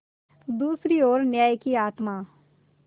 दूसरी ओर न्याय की आत्मा